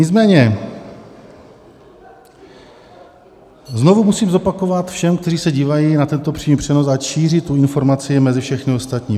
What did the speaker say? Nicméně znovu musím zopakovat všem, kteří se dívají na tento přímý přenos, ať šíří tu informaci mezi všechny ostatní.